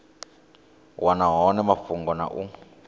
wana hone mafhungo na u